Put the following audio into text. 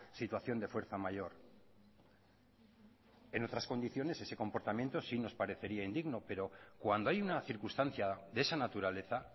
situación de fuerza mayor en otras condiciones ese comportamiento sí nos parecería indigno pero cuando hay una circunstancia de esa naturaleza